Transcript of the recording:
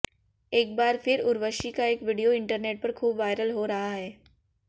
एक बार फिर उर्वशी का एक वीडियो इंटरनेट पर खूब वायरल हो रहा है